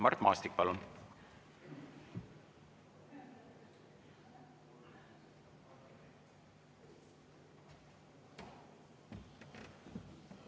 Mart Maastik, palun!